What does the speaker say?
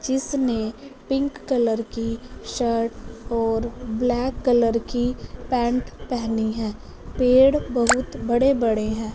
जिसनें pink colour की shirt और black colour की पैंट पहनी है पेड़ बहुत बड़े-बड़े है।